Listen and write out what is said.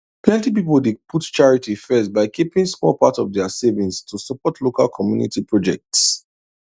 plenty people dey put charity first by keeping small part of their savings to support local community projects